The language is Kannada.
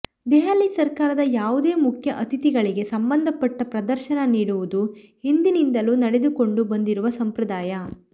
ದೆಹಲಿ ಸರ್ಕಾರದ ಯಾವುದೇ ಮುಖ್ಯ ಅತಿಥಿಗಳಿಗೆ ಸಂಬಂಧಪಟ್ಟ ಪ್ರದರ್ಶನ ನೀಡುವುದು ಹಿಂದಿನಿಂದಲೂ ನಡೆದುಕೊಂಡು ಬಂದಿರುವ ಸಂಪ್ರದಾಯ